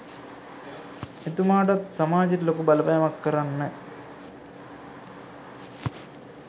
එතුමාටත් සමාජයට ලොකු බලපෑමක් කරන්න